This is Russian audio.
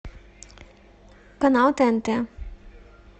канал тнт